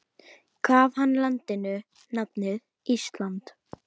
Gaf hann landinu nafnið Ísland.